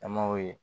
An m'o ye